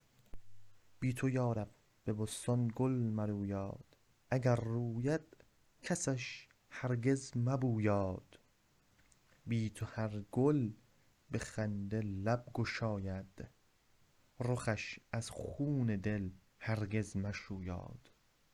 بی ته یارب به بستان گل مرویاد وگر روید کسش هرگز مبویاد بی ته هر گل به خنده لب گشاید رخش از خون دل هرگز مشویاد